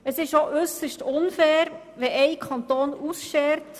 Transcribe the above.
Ausserdem ist es äusserst unfair, wenn ein Kanton ausschert;